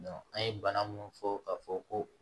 an ye bana munnu fɔ ka fɔ ko